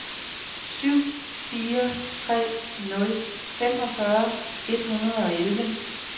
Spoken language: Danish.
syv fire tre nul femogfyrre et hundrede og elleve